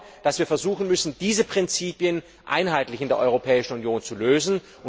Ich glaube, dass wir versuchen müssen, diese Prinzipien einheitlich in der Europäischen Union zu lösen.